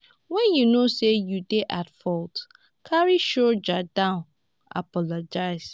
when you know sey you dey at fault carry shoulder down apologise